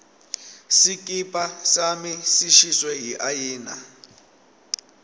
sikipa sami sishiswe yiayina